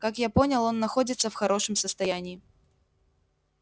как я понял он находится в хорошем состоянии